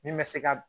Min bɛ se ka